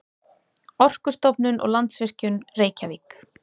Orkustofnun og Landsvirkjun, Reykjavík.